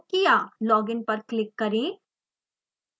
login पर click करें